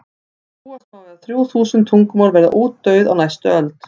búast má við að þrjú þúsund tungumál verði útdauð á næstu öld